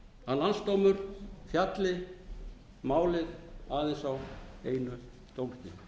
að landsdómur fjalli um málið aðeins á einu dómstigi